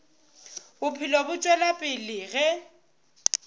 bophelo bo tšwela pele ge